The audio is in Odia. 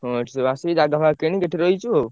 ହଁ ଏଠି ସବୁ ଆସି ଜାଗା ଫାଗା କିଣି ଏଠୁ ରହିଚୁ।